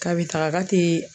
Kabi taga ka tee.